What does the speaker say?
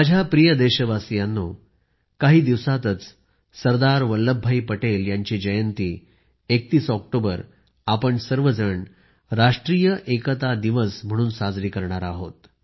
माझ्या प्रिय देशवासीयांनो काही दिवसातच सरदार वल्लभभाई पटेल यांची जयंती 31 ऑक्टोबर आपण सर्व राष्ट्रीय एकता दिवस म्हणून साजरा करू